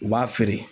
U b'a feere